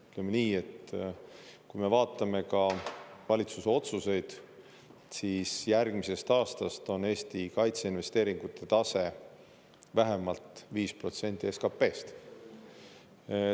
Ütleme nii, et kui me vaatame ka valitsuse otsuseid, siis järgmisest aastast on Eesti kaitseinvesteeringute tase vähemalt viis protsenti SKP-st.